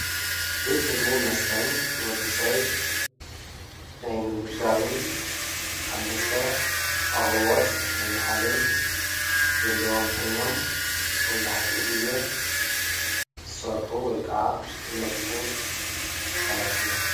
ቤት ምግብ መስተን ንወድስብ ናይ ምምጋብን አብ መስተ አቅርቦት ናይ ምሃብን ዘለዎም ኮይኖም መብዛሕቲኡ ግዜ ዝስርሑ ወይ ከዓ ዝነጥፉ አካላት እዮም።